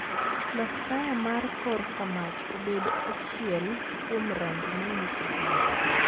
Lok taya mar kor kamach obed ochiel kuom rangi manyiso hera